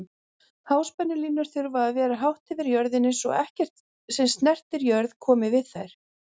Háspennulínur þurfa að vera hátt yfir jörðinni svo ekkert sem snertir jörð komi við þær.